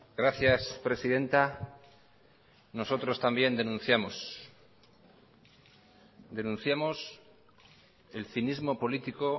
gracias presidenta nosotros también denunciamos denunciamos el cinismo político